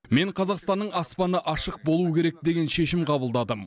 мен қазақстанның аспаны ашық болуы керек деген шешім қабылдадым